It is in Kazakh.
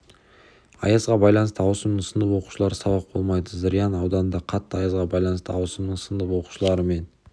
аязға байланысты ауысымның сынып оқушылары сабақ болмайды зырян ауданында қатты аязға байланысты ауысымның сынып оқушылары мен